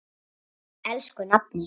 Elsku nafni.